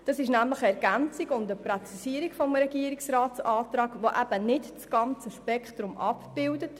Das ist nämlich eine Ergänzung und Präzisierung des Regierungsratsantrags, der eben nicht das ganze Spektrum abbildet.